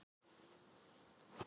Þeir sem reyna valdarán